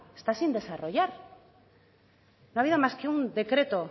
está sin desarrollar no ha habido más que un decreto